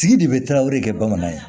Tigi de bɛ tarawele kɛ bamanan ye